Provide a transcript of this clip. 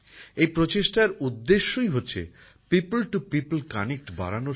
এই প্রচেষ্টার উদ্দেশ্যই হচ্ছে মানুষের সঙ্গে মানুষের যোগাযোগ বাড়ানো